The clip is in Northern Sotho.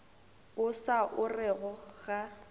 o sa o orego ga